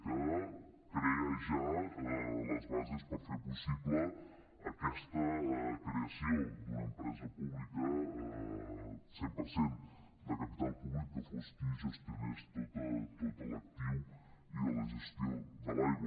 que crea ja les bases per fer possible aquesta creació d’una empresa pública cent per cent de capital públic que fos qui gestionés tot l’actiu i la gestió de l’aigua